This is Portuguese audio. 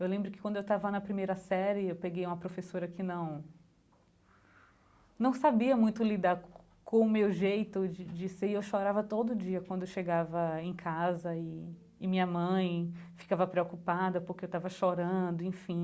Eu lembro que quando eu estava na primeira série, eu peguei uma professora que não... Não sabia muito lidar com com o meu jeito de de ser e eu chorava todo dia quando eu chegava em casa e e minha mãe ficava preocupada porque eu estava chorando, enfim.